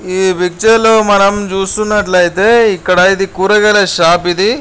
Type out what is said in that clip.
ఈ పిక్చర్ లో మనం చూస్తున్నట్లయితేఇక్కడ ఇది కూరగాయల షాప్ ఇది.